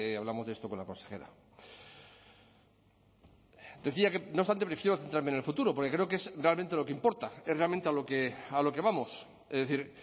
hablamos de esto con la consejera decía que no obstante prefiero centrarme en el futuro porque creo que es realmente lo que importa es realmente a lo que vamos es decir